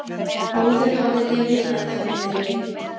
Áður hafði lyfjameðferð verið reynd